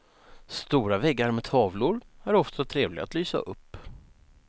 Stora väggar med tavlor är ofta trevliga att lysa upp.